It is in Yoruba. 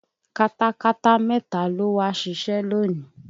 Katakata mẹ́ta ló wá ṣiṣẹ́ lónìí